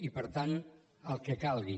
i per tant el que calgui